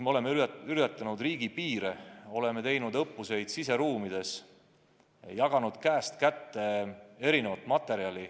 Me oleme ületanud riigipiire, oleme teinud õppusi siseruumides, jaganud käest kätte mitmesugust materjali.